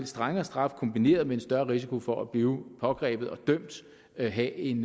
strengere straffe kombineret med en større risiko for at blive pågrebet og dømt vil have en